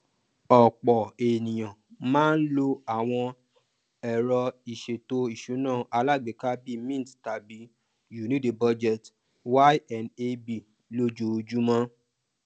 ọpọ ènìyàn máa ń lò àwọn ero ìṣètò ìsúná alágbèéká bíi mint tàbí you need a budget ynab lójoojúmọ